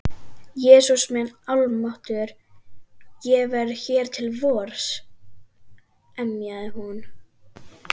Jesús minn almáttugur, ég verð hér til vors. emjaði hún.